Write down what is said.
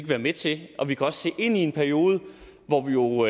være med til det og vi kan også se ind i en periode hvor vi jo